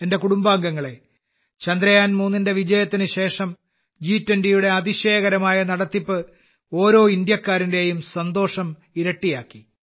എന്റെ കുടുംബാംഗങ്ങളെ ചന്ദ്രയാൻ 3 ന്റെ വിജയത്തിനുശേഷം ജി20യുടെ അതിശയകരമായ നടത്തിപ്പ് ഓരോ ഇന്ത്യക്കാരന്റെയും സന്തോഷം ഇരട്ടിയാക്കി